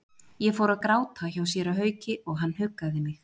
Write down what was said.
Ég fór að gráta hjá séra Hauki og hann huggaði mig.